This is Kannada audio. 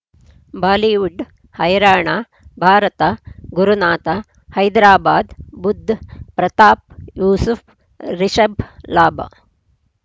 ಬಾಲಿವುಡ್ ಹೈರಾಣ ಭಾರತ ಗುರುನಾಥ ಹೈದರಾಬಾದ್ ಬುಧ್ ಪ್ರತಾಪ್ ಯೂಸುಫ್ ರಿಷಬ್ ಲಾಭ